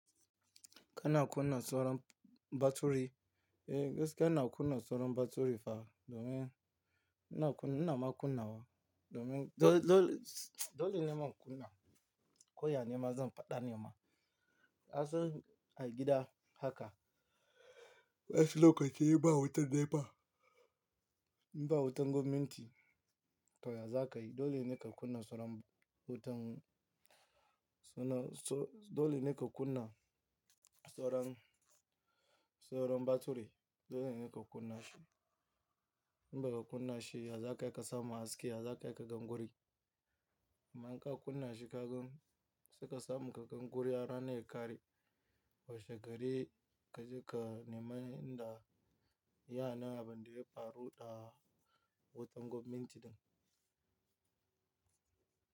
Kana kunna sauran baturi, eh gaskiya ina kunna sauran baturi fa domin ina kunna, ina ma kunna wa domin dole, dole, dole nima in kunna ko ya nema zan faɗa nema. Asalin a gida haka, wasu lokaci ba wutar NEPA, in ba wutan gwamnati to ya za ka yi dole ne ka kunna sauran wutan. Dole ne ka kunna sauran, sauran baturi dole ne ka kunna shi. In baka kunna shi ya za kai ka samu haske, ya za kai ka gan wurin. Amma in ka kunna shi ka gan, sai ka samu ka gan guri har rana ya ƙare washe gari kaje ka nema inda yane abin da ya faru da wutan gwamnati din.